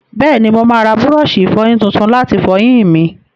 Bẹ́ẹ̀ni, mo máa ra búrọ́ọ̀ṣì ìfọyín tuntun láti fọyín mi.